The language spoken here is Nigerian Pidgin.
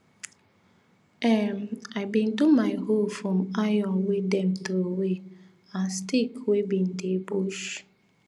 um i bin do my hoe from iron wey them throwaway and stick wey bin dey bush